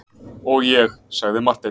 Og ég, sagði Marteinn.